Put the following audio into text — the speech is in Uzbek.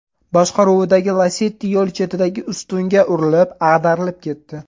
boshqaruvidagi Lacetti yo‘l chetidagi ustunga urilib, ag‘darilib ketdi.